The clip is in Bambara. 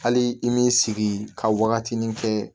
Hali i m'i sigi ka wagatinin kɛ